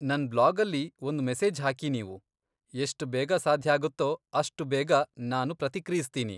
ನನ್ ಬ್ಲಾಗಲ್ಲಿ ಒಂದು ಮೆಸೇಜ್ ಹಾಕಿ ನೀವು, ಎಷ್ಟ್ ಬೇಗ ಸಾಧ್ಯಾಗತ್ತೋ ಅಷ್ಟು ಬೇಗ ನಾನು ಪ್ರತಿಕ್ರಿಯಿಸ್ತೀನಿ.